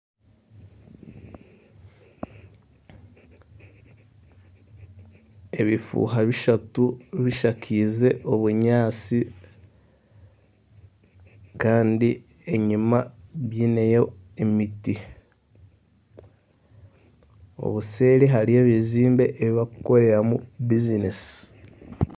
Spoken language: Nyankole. Ebifuuha bishatu bishakaize obunyaatsi. Kandi enyima biineyo emiti. Obuseeri hariyo ebizimbe ebi bakukoreramu bizinesi.